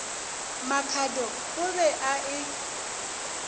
makhado o be a e